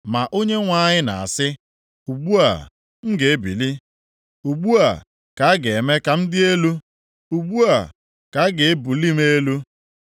Ma Onyenwe anyị na-asị, “Ugbu a, m ga-ebili.” “Ugbu a, ka a ga-eme ka m dị elu; + 33:10 Mgbe a ga-asọpụrụ m ugbu a, ka a ga-ebuli m elu.